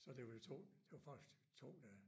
Så det var jo 2 det var faktisk 2 dage